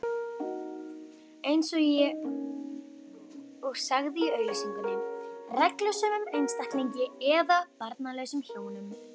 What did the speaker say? eins og sagði í auglýsingunni: reglusömum einstaklingi eða barnlausum hjónum.